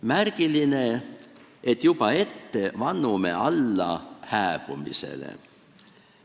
Märgiline selle mõttes, et me juba ette vannume hääbumisele alla.